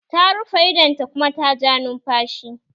Ta rufe idon ta kuma ta ja numfashi.